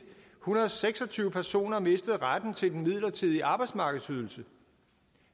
hundrede og seks og tyve personer mistet retten til den midlertidige arbejdsmarkedsydelse